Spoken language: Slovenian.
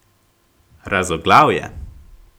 Razoglav je.